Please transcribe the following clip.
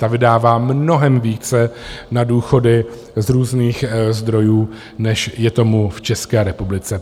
Ta vydává mnohem více na důchody z různých zdrojů, než je tomu v České republice.